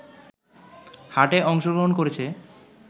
হাটে অংশগ্রহণ করেছে